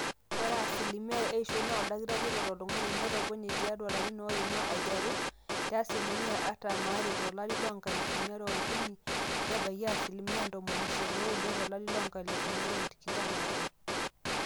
ore asilimia eishoi naa oldakitari oret oltung'ani netopone tiatua larin oima ateru te asilimia artam aare tolari loonkalifuni are ookuni nebaiki asilimia ntomoni isiet ooudo tolari loonkalifuni are o tikitam aare